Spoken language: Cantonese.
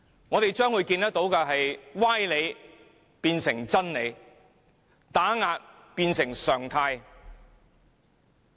我們將會看到歪理變成真理，打壓變成常態。